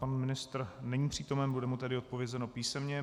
Pan ministr není přítomen, bude mu tedy odpovězeno písemně.